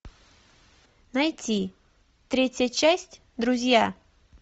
найти третья часть друзья